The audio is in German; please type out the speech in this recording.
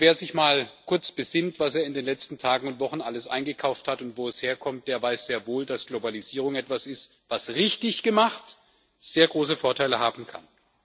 Wer sich mal kurz besinnt, was er in den letzten Tagen und Wochen alles eingekauft hat und wo es herkommt, der weiß sehr wohl, dass Globalisierung etwas ist, was, richtig gemacht, sehr große Vorteile haben kann.